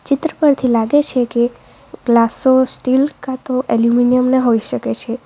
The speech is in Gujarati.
ચિત્ર પરથી લાગે છે કે ગ્લાસો સ્ટીલ કા તો એલ્યુમિનિયમ ના હોઈ શકે છે.